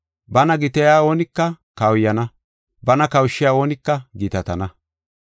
Bana gitaya oonika kawuyana; bana kawushiya oonika gitatana.